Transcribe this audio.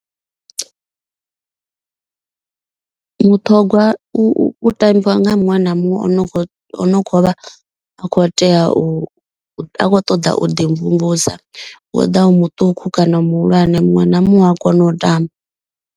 Mutogwa u tambiwa nga muṅwe na muṅwe o no kho o no kho uvha a kho tea u a khou ṱoḓa u ḓi mvumvusa. Woḓa u muṱuku kana muhulwane muṅwe na muṅwe u a kona u tamba.